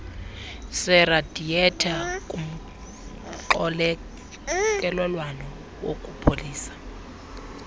seradiyetha kumxokelelwano wokupholisa